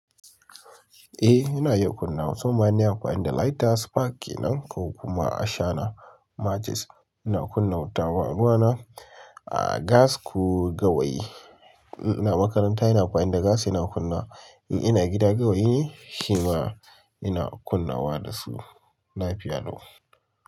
Eh, ina iya kunna wuta. Musamman ma in nayi amfani da lighter spark ke nan ko kuma ashana matches ina kunna wuta. Ruwa na a gas ko gawayi. Ina makaranta ina amfani da gas ina kunna. In ina gida gawayi ne shi ma ina kunnawa da su. La fiya lau.